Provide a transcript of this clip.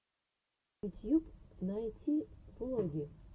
ютьюб найти влоги